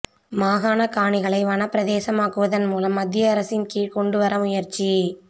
மாகாணக் காணிகளை வனப்பிரதேசமாக்குவதன் மூலம் மத்திய அரசின் கீழ் கொண்டுவர முயற்சி